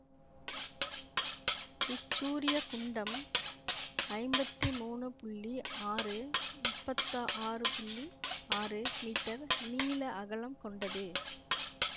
இச்சூரிய குண்டம் ஐம்பத்தி மூனு புள்ளி ஆறு முப்பத்தாறு புள்ளி ஆறு மீட்டர் நீள அகலம் கொண்டது